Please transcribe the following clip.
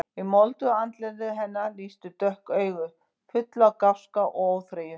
Í moldugu andliti hennar lýstu dökk augu, full af gáska og óþreyju.